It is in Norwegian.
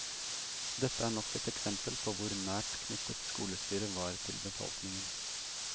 Dette er nok et eksempel på hvor nært knyttet skolestyret var til befolkningen.